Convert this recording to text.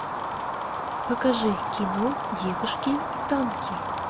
покажи кино девушки и танки